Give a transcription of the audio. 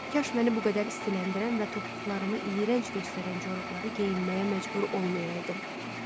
Kaş məni bu qədər istiləndirən və topuqlarımı iyrənc göstərən corabları geyinməyə məcbur olmayaydım.